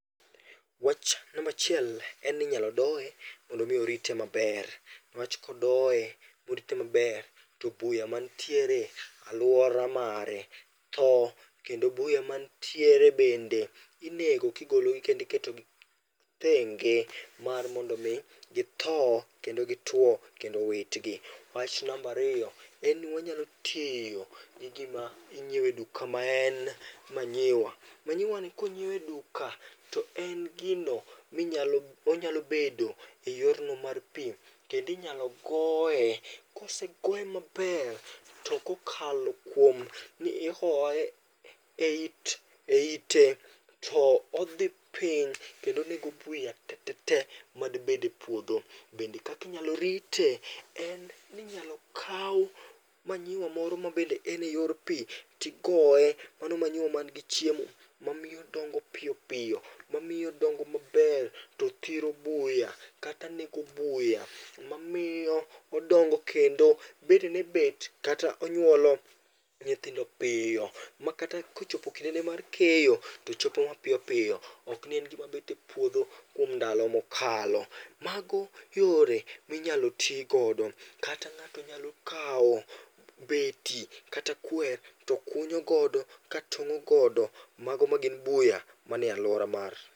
Wach nambachiel en ni inyalo doye mondo mi orite maber. Newach kodoye morite maber to buya mantiere alwora mare tho, kendo buya mantiere bende inego kigologi kendi ketogi thenge mar mondo mi githo kendo gitwo, kendo witgi. Wach nambariyo, en ni wanyalo tiyo gi gima inyiewe duka maen manyiwa. Manyiwani konyiew e duka to en gino minyalo onyalo bedo e yorno mar pi, kendinyalo goye. Kosegoye maber, to kokalo kuom ni ihoye eit eite to odhi piny kendo onego buya te te te madibed e puodho. Bende kakinyalo rite en ni inyalo kaw manyiwa moro ma bende en e yor pi tigoye, mano manyiwa man gi chiemo. Mamiyo odongo piyo piyo, mamiyo odongo maber, tothiro buya kata nego buya. Mamiyo odongo kendo bedene bet kata onyuolo nyithindo piyo, makata kochopo kinde ne mar keyo, to chopo mapiyo piyo. Ok ni en gima bet e puodho kuom ndalo mokalo. Mago yore minyalo tigodo, kata ng'ato nyalo kawo beti kata kwer to kunyo godo ka tong'o godo mago ma gin buya manie alwora mar.